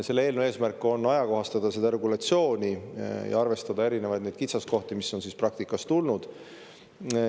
Eelnõu eesmärk on ajakohastada seda regulatsiooni ja arvestada erinevaid kitsaskohti, mis on praktikas ette tulnud.